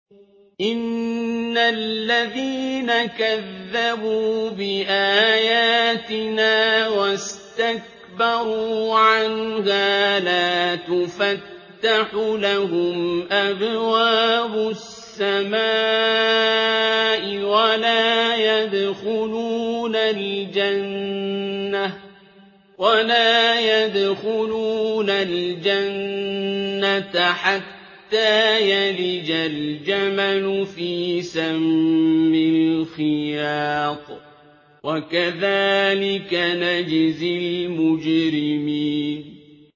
إِنَّ الَّذِينَ كَذَّبُوا بِآيَاتِنَا وَاسْتَكْبَرُوا عَنْهَا لَا تُفَتَّحُ لَهُمْ أَبْوَابُ السَّمَاءِ وَلَا يَدْخُلُونَ الْجَنَّةَ حَتَّىٰ يَلِجَ الْجَمَلُ فِي سَمِّ الْخِيَاطِ ۚ وَكَذَٰلِكَ نَجْزِي الْمُجْرِمِينَ